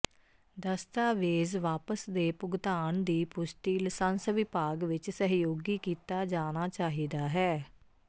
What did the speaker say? ਦਸਤਾਵੇਜ਼ ਵਾਪਸ ਦੇ ਭੁਗਤਾਨ ਦੀ ਪੁਸ਼ਟੀ ਲਸੰਸ ਵਿਭਾਗ ਵਿੱਚ ਸਹਿਯੋਗੀ ਕੀਤਾ ਜਾਣਾ ਚਾਹੀਦਾ ਹੈ